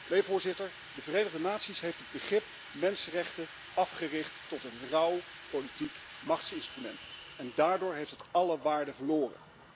Nee, Voorzitter, de Verenigde Naties heeft het begrip mensenrechten afgericht tot een rauw politiek machtsinstrument en daardoor heeft het alle waarde verloren.